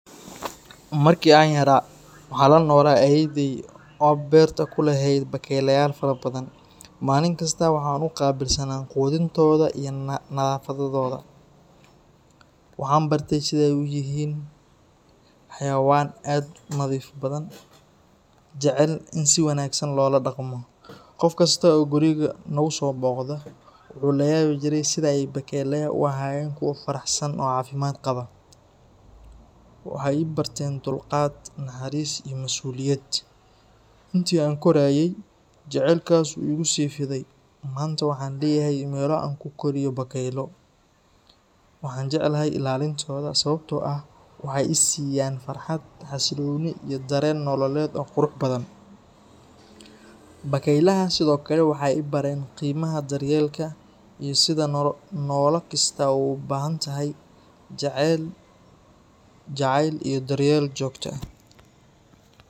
Markii aan yaraa, waxaan la noolaa ayeeyday oo beerta ku lahayd bakayleyaal fara badan. Maalin kasta waxaan u qaabilsanaa quudintooda iyo nadaafadooda. Waxaan bartay sida ay u yihiin xayawaan aad u nadiif badan, jecelna in si wanaagsan loola dhaqmo. Qof kasta oo guriga nagu soo booqda, wuxuu layaabi jiray sida ay bakaylaha u ahaayeen kuwo faraxsan oo caafimaad qaba. Waxay i barteen dulqaad, naxariis iyo masuuliyad. Intii aan korayay, jacaylkaas wuu igu sii fiday, maanta waxaan leeyahay meelo aan ku koriyo bakaylo. Waxaan jeclahay ilaalintooda sababtoo ah waxay i siiyaan farxad, xasillooni iyo dareen nololeed oo qurux badan. Bakaylaha sidoo kale waxay i bareen qiimaha daryeelka iyo sida nolol kasta u baahan tahay jacayl iyo daryeel joogto ah.